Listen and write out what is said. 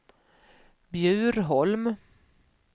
Bjurholm